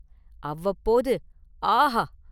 அவ்வப்போது “ஆஹா !